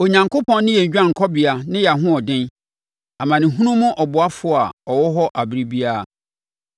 Onyankopɔn ne yɛn dwanekɔbea ne yɛn ahoɔden, amanehunu mu ɔboafoɔ a ɔwɔ hɔ ɛberɛ biara.